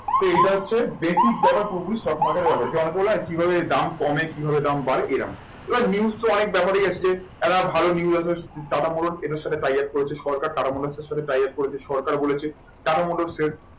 তো এইটা হচ্ছে basic ব্যাপার পুরোপুরি stock market ব্যাপারে কিভাবে দাম কমে কিভাবে দাম বাড়ে এরম এবার news তো অনেক ব্যাপারেই এসছে একটা ভালো টাটা মোটরস এদের সাথে triumph করেছে সরকার টাটা মোটরস এর সাথে triumph করেছে সরকার বলেছে টাটা মোটরস এর